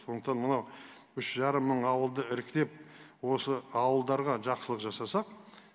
сондықтан мынау үш жарым мың ауылды іріктеп осы ауылдарға жақсылық жасасақ